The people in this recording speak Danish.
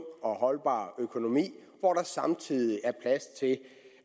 og holdbar økonomi hvor der samtidig er plads til